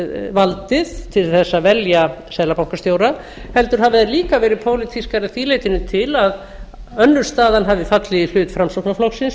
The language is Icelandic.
valdið til þess að velja seðlabankastjóra heldur hafi þær líka verið pólitískar að því leytinu til að önnur staðan hafði fallið í hlut framsóknarflokksins